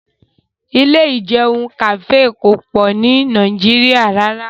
Ilé ìjẹun kàfé kò pọ̀ ni Nàìjíríà rárá